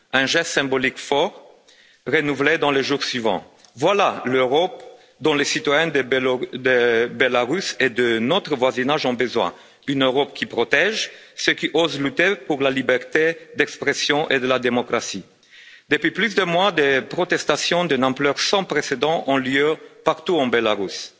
Un geste symbolique fort renouvelé dans les jours suivants. Voilà l'Europe dont les citoyens de Biélorussie et de notre voisinage ont besoin. Une Europe qui protège ceux qui osent lutter pour la liberté d'expression et la démocratie. Depuis plus d'un mois, des manifestations d'une ampleur sans précédent ont lieu partout en Biélorussie.